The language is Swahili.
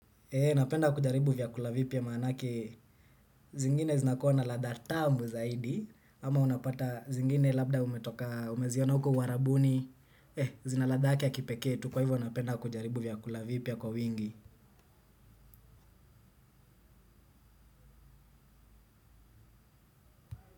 Napenda kujaribu vyakula vipya maanake, zingine zinakua na ladha tamu zaidi, ama unapata zingine labda umeziona uko uarabuni, zina ladha yake ya kipekee tu, kwa hivyo napenda kujaribu vyakula vipya kwa wingi.